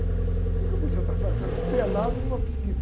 O quê que eu podia estar fazendo pelado numa piscina?